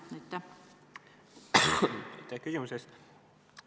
Aitäh küsimuse eest!